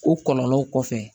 O kɔlɔlɔw kɔfɛ